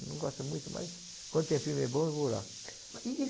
Não gosto muito, mas quando tem filme bom, eu vou lá. E e